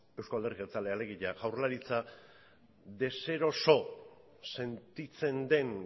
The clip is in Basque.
euzko alderdi jeltzalea alegia jaurlaritza deseroso sentitzen den